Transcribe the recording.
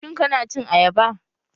Shin kana cin ayaba?